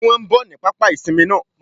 Sé wọn n bò ní pápá ìsinmi náà